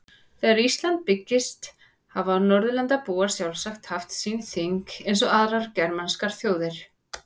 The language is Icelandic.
Þegar Ísland byggðist hafa Norðurlandabúar sjálfsagt haft sín þing eins og aðrar germanskar þjóðir.